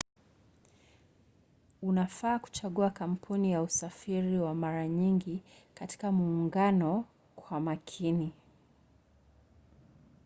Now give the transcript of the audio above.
unafaa kuchagua kampuni ya usafiri wa mara nyingi katika muungano kwa makini